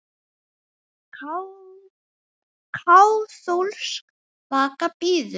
Kaþólsk vaka bíður.